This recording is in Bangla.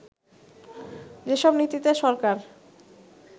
যেসব নীতিতে সরকার